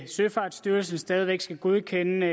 søfartsstyrelsen stadig væk skal godkende og